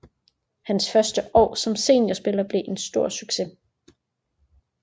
Hans første år som seniorspiller blev en stor succes